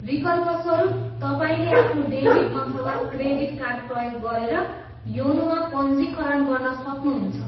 विकल्पस्वरुप, तपाईँले आफ्नो डेबिट अथवा क्रेडिट कार्ड प्रयोग गरेर योनोमा पञ्जीकरण गर्न सक्नुहुन्छ।